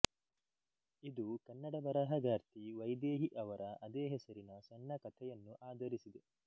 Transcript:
ಇದು ಕನ್ನಡ ಬರಹಗಾರ್ತಿ ವೈದೇಹಿ ಅವರ ಅದೇ ಹೆಸರಿನ ಸಣ್ಣ ಕಥೆಯನ್ನು ಆಧರಿಸಿದೆ